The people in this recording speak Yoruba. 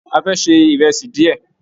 A fẹ́ ṣe ìrẹsì díẹ̀.